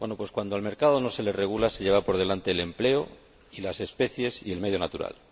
Cuando el mercado no se regula, se lleva por delante el empleo y las especies y el medio natural.